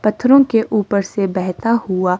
पत्थरों के ऊपर से बहता हुआ--